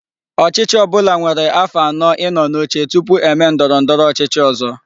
Ochichi obula nwere afo ano I no n'oche tupu eme ndoro ndoro ochichi ozo